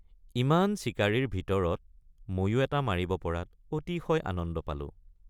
ইমান চিকাৰীৰ ভিতৰত ময়ো এটা মাৰিব পৰাত অতিশয় আনন্দ পালোঁ।